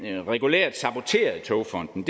regulært saboterede togfonden